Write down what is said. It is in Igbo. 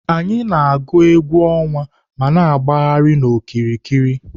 Anyị na-agụ egwú ọnwa ma na-agbagharị n'okiriki.